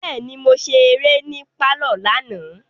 Bẹẹni, Mo ṣe eré ni parlor lana